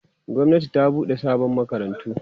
gwamnati ta buɗe sabon makarantu